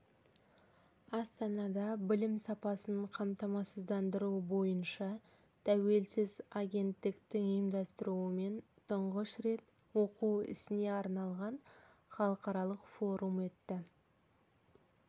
астанада білім сапасын қамтамасыздандыру бойынша тәуелсіз агенттіктің ұйымдастыруымен тұңғыш рет оқу ісіне арналған халықаралық форум өтті